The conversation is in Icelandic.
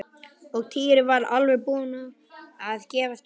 Og Týri var alveg búinn að gefast upp.